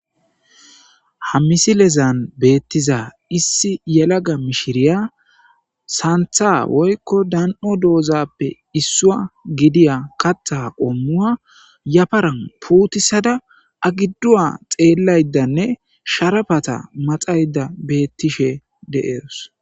Ha misilezan beettiza issi yelaga mishiriya saantha woykko dan7o doozappe issua gidiya katta qommua yafaran puutisada agidduwa xeellaydanne sharafata maxayda bettishe de'eos.